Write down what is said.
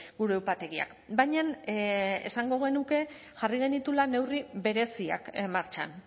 gure upategiak baina esango genuke jarri genituela neurri bereziak martxan